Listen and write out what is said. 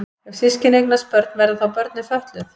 Ef systkini eignast börn verða þá börnin fötluð?